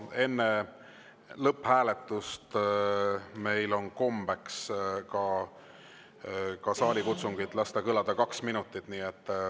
Enne lõpphääletust on meil kombeks lasta kaks minutit kõlada ka saalikutsungil.